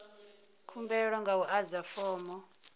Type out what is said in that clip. khumbelo nga u adza fomo